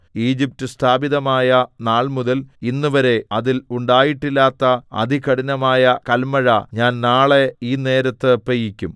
Egypt സ്ഥാപിതമായ നാൾമുതൽ ഇന്നുവരെ അതിൽ ഉണ്ടായിട്ടില്ലാത്ത അതികഠിനമായ കല്മഴ ഞാൻ നാളെ ഈ നേരത്ത് പെയ്യിക്കും